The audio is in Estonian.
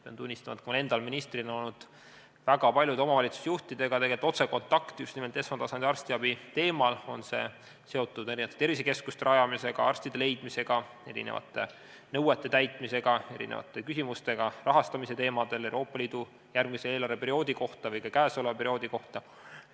Pean tunnistama, et mul endal ministrina on olnud väga paljude omavalitsusjuhtidega otsekontakt just nimelt esmatasandi arstiabi teemal, ükskõik, kas see on seotud tervisekeskuste rajamise, arstide leidmise, mingite nõuete täitmise või küsimustega rahastamise teemadel kas Euroopa Liidu järgmise eelarveperioodi või ka käesoleva perioodi kohta.